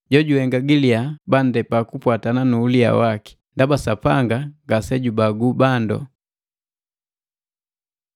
Jojuhenga gi liyaa bandepa kupwatana nu uliya waki, ndaba Sapanga ngase jubagu bandu.